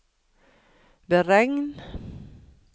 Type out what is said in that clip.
beregn